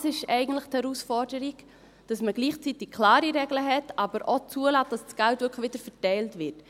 Das ist eigentlich die Herausforderung, dass man gleichzeitig klare Regeln hat, aber auch zulässt, dass das Geld wirklich wieder verteilt wird.